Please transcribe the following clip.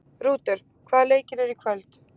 Rútur, hvaða leikir eru í kvöld?